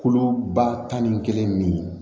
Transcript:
Kolo ba tan ni kelen nin